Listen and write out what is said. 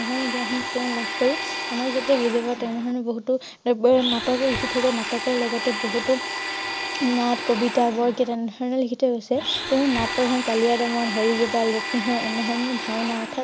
এনে ধৰণে জ্ঞান সমূহ তেওঁ লাভ কৰি অনক যাতে বুজিব তেনে ধৰণৰ বহুতো এব নাটক লিখি নাটকৰ লগতে বহুতো নাট কবিতা বৰগীত এনে ধৰণৰ লিখি থৈ গৈছে তেওঁ নাট কলীয়া দমন, হৰি গোপাল, ৰুক্মিণী হৰণ এনে ধৰণৰ ভাওনা অৰ্থাৎ